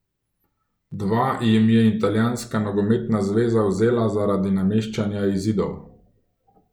Dva jim je Italijanska nogometna zveza vzela zaradi nameščanja izidov.